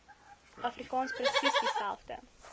afrikaans presies dieselfde